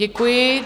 Děkuji.